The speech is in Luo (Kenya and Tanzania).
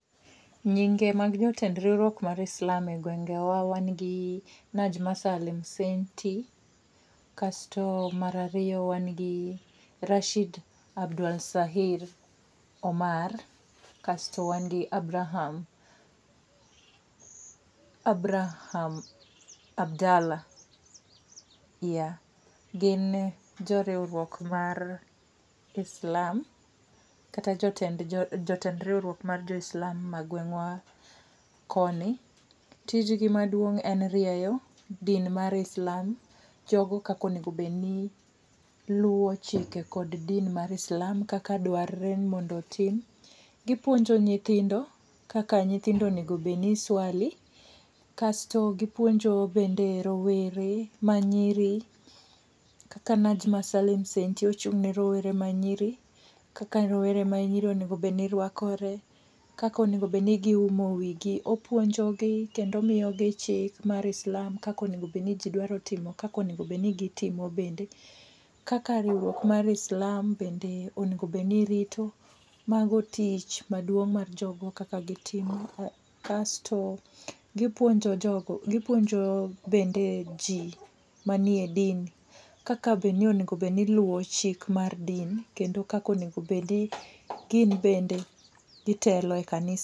Nyinge mag jotend riwruok mar islam egwengewa wan gi Naaj ,mara riyo wan gi Rashid Abdwalsahir Omar kasto wan gi Abraham. Abraham Abdalah yeah. Gin jo riwruok mar islam kata jotend jo tend riwruok mar islam ma gweng wa koni. Tij gi maduong' en rieyo din mar islam, Jo go kaka onego bed ni luwo chike kod din mar islam kaka dwarore no mondo otim, gi puonjo nyithindo kaka onego bed ni iswali, kasto gi puonjo bende rowere ma nyiri kaka ochung ne rowere ma nyiri kaka rowere ma nyiri onego bed ni rwakore, kaka onego bed ni gi umo wigi, opuonjo gi kendo omiyo gi omiyo gi chik mar islam kaka onego bed ni ji dwaro timo kaka onego bed ni gi timo bende kaka riwruok mar islam bende onego bed ni irito, mago tich ma dwong mar jo go kaka gi timo. Kasto gi puonjo jo go gi puonjo bende ji ma ni e din kaka be ni onego bed ji iluwo chik mar din kendo kaka onego obed ni gin bende gi telo e kanisa.